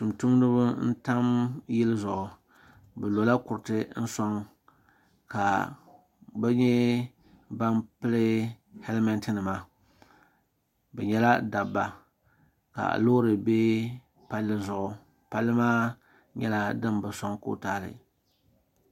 tum tumdiba n-tam yili zuɣu bɛ lola kuriti sɔŋ ka bɛ yihi ban pili helimenti nima bɛ nyɛla dabba ka loori be palli zuɣu palli maa nyɛla din bi sɔŋ kootaali.